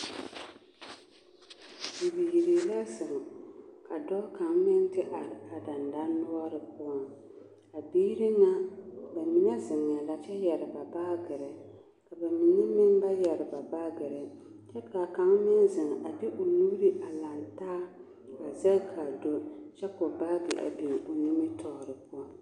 Bibiiri la zeŋ ka dɔɔ kaŋa meŋ te are a dendɔnoɔre poɔ a biiri ŋa bamine zeŋɛɛ la kyɛ yɛre ba baagiri ka bamine meŋ ba yɛre ba baagiri kyɛ k'a kaŋ meŋ zeŋ a de o nuuri a lantaa a zɛge k'a do kyɛ k'o baagi a biŋ a nimitɔɔre poɔŋ.